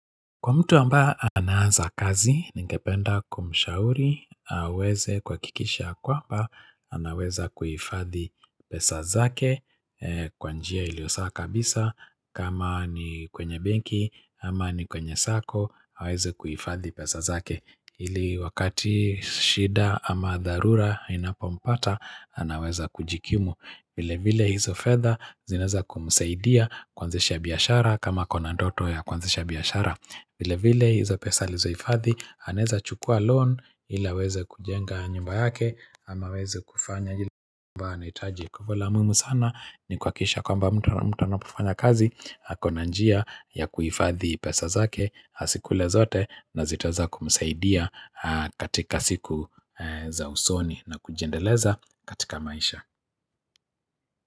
Kwa mtu ambaye anaanza kazi, ningependa kumshauri, aweze kuhakikisha ya kwamba, anaweza kuhifadhi pesa zake, kwa njia ilio sawa kabisa, kama ni kwenye benki, ama ni kwenye sako, aweze kuifadhi pesa zake. Ili wakati shida ama dharura inapompata anaweza kujikimu vile vile hizo fedha zinaeza kumsaidia kuanzisha biashara kama ako na ndoto ya kuanzisha biashara vile vile hizo pesa alizohifadhi anaeza chukua loan ili aweze kujenga nyumba yake ama aweze kufanya ile ambap anahitaji Kwa hali ya umuhimu sana ni kuhakikisha kwamba mtu anapofanya kazi ako na njia ya kuhifadhi pesa zake asikule zote na zitaeza kumsaidia katika siku za usoni na kujiendeleza katika maisha.